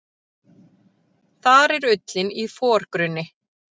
Þar er ullin í forgrunni.